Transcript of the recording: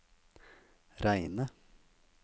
reine